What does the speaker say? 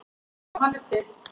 Já, hann er til.